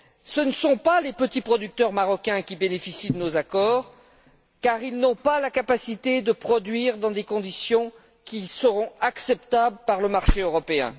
Ce ne sont pas les petits producteurs marocains qui bénéficient de nos accords, car ils n'ont pas la capacité de produire dans des conditions qui seront acceptables par le marché européen.